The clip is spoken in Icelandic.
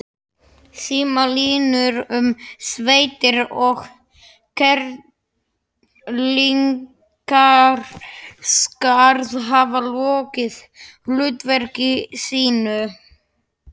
Símalínur um sveitir og Kerlingarskarð hafa lokið hlutverki sínu.